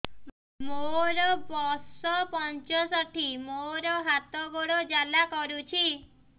ମୋର ବର୍ଷ ପଞ୍ଚଷଠି ମୋର ହାତ ଗୋଡ଼ ଜାଲା କରୁଛି